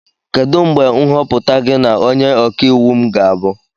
Kedu mgbe nhọpụta gị na onye ọka iwu m ga ahu?